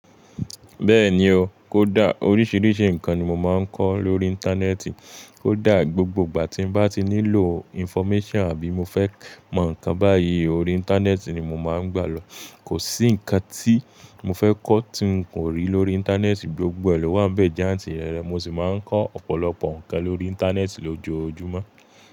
Bẹ́ẹ̀ni o, kó dà. Oríṣiríṣi nǹkan ni mo máa ń kọ́ lórí Íńtánẹ́ẹ̀tì. Kó dà, gbogbo ìgbà tí bá ti nílò information àbí mo fẹ́ mọ̀ nǹkan báyìí, orí Íńtánẹ́ẹ̀tì ni mo máa ń gbà lọ. Kò sí nǹkan tí mo fẹ́ kọ́ tí n kò rí lórí Íńtánẹ́ẹ̀tì. Gbogbo ẹ lowa ń bẹ́ jaǹtì rẹrẹ. Mo sì máa ń kọ́ ọ̀pọ̀lọpọ̀ nǹkan lórí Íńtánẹ́ẹ̀tì lójoojúmọ́